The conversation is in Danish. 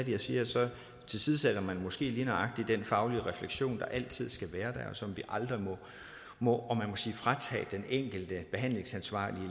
jeg siger at så tilsidesætter man måske lige nøjagtig den faglige refleksion der altid skal være og som vi aldrig må fratage den enkelte behandlingsansvarlige